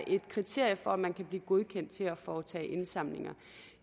et kriterium for at man kan blive godkendt til at foretage indsamlinger